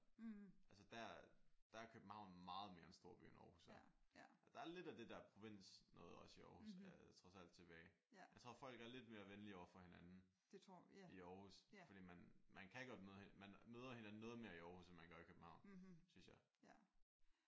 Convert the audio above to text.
Altså der er der er Købehavn meget mere en storby end Aarhus er. Der er lidt af det der provinsnoget også i Aarhus trods alt tilbage. Jeg tror folk er lidt mere venlige overfor hinanden i Aarhus fordi man man kan godt man møder hinanden noget mere i Aarhus end man gør i København synes jeg